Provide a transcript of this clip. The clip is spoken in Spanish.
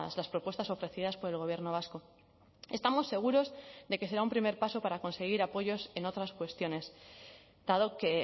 las propuestas ofrecidas por el gobierno vasco estamos seguros de que será un primer paso para conseguir apoyos en otras cuestiones dado que